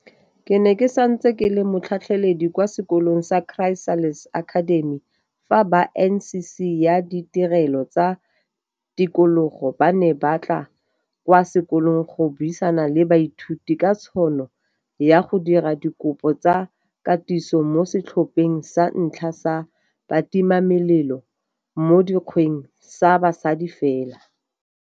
Ke ne ke santse ke le motlhatlheledi kwa sekolong sa Chrysalis Academy fa ba NCC ya Ditirelo tsa Tikologo ba ne ba tla kwa sekolong go buisana le baithuti ka tšhono ya go dira dikopo tsa katiso mo setlhopheng sa ntlha sa batimamelelo mo dikgweng sa basadi fela.